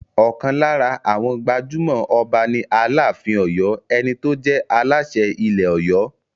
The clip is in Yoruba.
Ọ̀kan lára àwọn gbajúmọ̀ Ọba ni Aláàfin Ọ̀yọ́, ẹni tó jẹ́ Aláṣẹ ilẹ̀ Ọ̀yọ́.